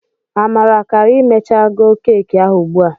Amara ga ha emecha keki ahụ ugbu a.